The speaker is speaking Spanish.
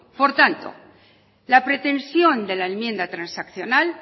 por tanto la pretensión de la enmienda transaccional